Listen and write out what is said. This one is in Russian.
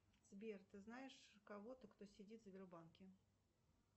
сбер ты знаешь кого то кто сидит в сбербанке